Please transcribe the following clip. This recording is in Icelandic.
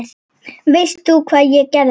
Veistu hvað ég geri?